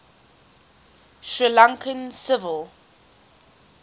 sri lankan civil